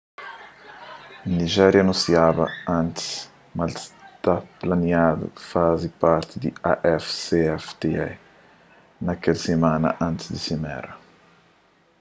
nijéria anunsiaba antis ma el sa ta planiaba faze parti di afcfta na kel simana antis di simera